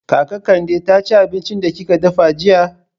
Kaka Kande ta ci abincin da kika dafa jiya?